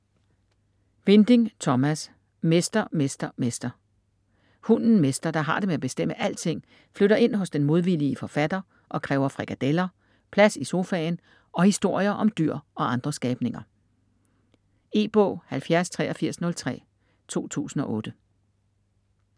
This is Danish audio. Winding, Thomas: Mester, Mester, Mester Hunden Mester, der har det med at bestemme alting, flytter ind hos den modvillige forfatter og kræver frikadeller, plads i sofaen og historier om dyr og andre skabninger. E-bog 708303 2008.